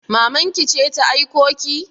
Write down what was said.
Maman ki ce ta aiko ki?